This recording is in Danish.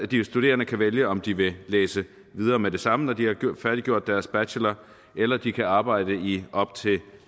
de studerende kan vælge om de vil læse videre med det samme når de har færdiggjort deres bachelor eller de kan arbejde i op til